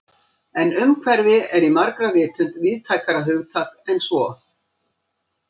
En umhverfi er í margra vitund víðtækara hugtak en svo.